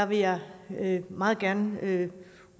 vil jeg meget gerne